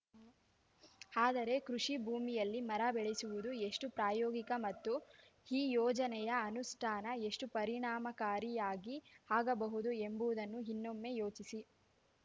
ಆದರೆ ಕೃಷಿ ಭೂಮಿಯಲ್ಲಿ ಮರ ಬೆಳೆಸುವುದು ಎಷ್ಟುಪ್ರಾಯೋಗಿಕ ಮತ್ತು ಈ ಯೋಜನೆಯ ಅನುಷ್ಠಾನ ಎಷ್ಟುಪರಿಣಾಮಕಾರಿಯಾಗಿ ಆಗಬಹುದು ಎಂಬುವುದನ್ನು ಇನ್ನೊಮ್ಮೆ ಯೋಚಿಸಿ